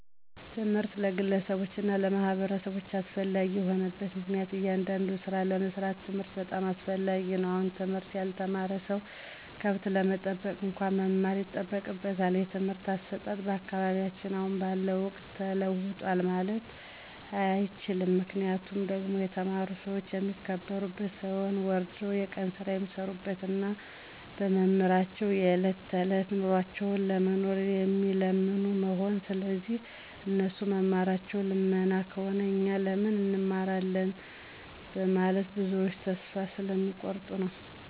ትምህርት ለግለሰቦች እና ለማህበረሰቦች አስፈላጊ የሆነበት ምክንያቱም እያንዳዱን ስራ ለመስራት ትምህርት በጣም አስፈላጊ ነው አሁን ትምህርት ያልተማረ ሰው ከብት ለመጠበቅ እንኳን መማር ይጠበቅበታል። የትምህርት አሰጣጥ በአካባቢያችን አሁን ባለው ወቅት ተለውጧል ማለት አይቸልም ምክንያቱ ደግሞ የተማሩ ሰዎች የሚከበሩበት ሳይሆን ወርደው የቀን ስራ የሚሰሩበት እና በመማራቸው የዕለት ተዕለት ኑሯቸውን ለመኖር የሚለምኑ መሆኑ ስለዚህ እነሱ መማራቸው ልመና ከሆነ እኛ ለምን እንማራለን በመለት ብዞች ተስፋ ስለሚ ቆርጡ ነዉ።